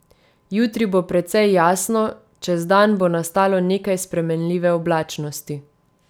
Jutri bo precej jasno, čez dan bo nastalo nekaj spremenljive oblačnosti.